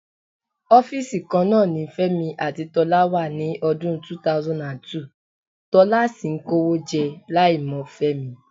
Ọ́fíìsì kan náà ni Fẹ́mi àti Tọ́lá wà ní ọdún 2002, Tọ́lá sì ń kówó jẹ láìmọ̀ Fẹ́mi.